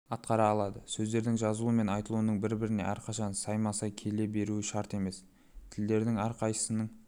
атқара алады сөздердің жазылуы мен айтылуының бір-біріне әрқашан сайма-сай келе беруі шарт емес тілдердің әрқайсысының